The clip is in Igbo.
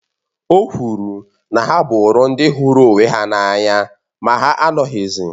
O kwuru na ha bụrụ ndị hụrụ onwe ha n’anya ma ha anọghịzi